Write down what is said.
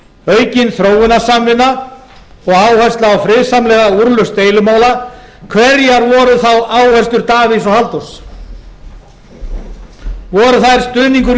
aukin þróunarsamvinna og áhersla á friðsamlega úrlausn deilumála hverjar voru þá áherslur davíðs og halldórs voru þær stuðningur